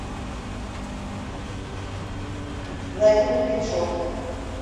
владимир меньшов